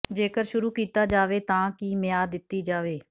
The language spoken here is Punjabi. ਜੇਕਰ ਸ਼ੁਰੂ ਕੀਤਾ ਜਾਵੇ ਤਾਂ ਕੀ ਮਿਆਦ ਦਿੱਤੀ ਜਾਵੇ